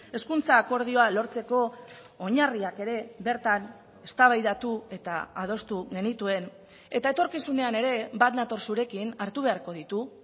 hezkuntza akordioa lortzeko oinarriak ere bertan eztabaidatu eta adostu genituen eta etorkizunean ere bat nator zurekin hartu beharko ditu